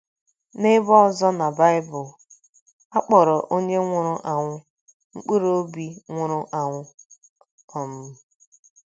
N’ebe ọzọ na Baịbụl, um a kpọrọ onye nwụrụ anwụ ‘ mkpụrụ obi nwụrụ anwụ um. ’ um